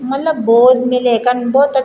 मलब बहौत मिलेकन बहौत अछू --